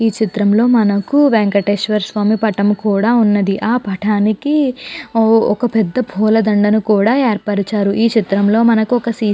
ఈ చిత్రం లో మనకు వేంకటేశ్వర స్వామి పటం కూడా ఉన్నది. ఆ పటానికి ఒక పూల దండను కూడా ఏర్పరిచారు. ఈ చిత్రంలో మనకు ఒక సీసీ --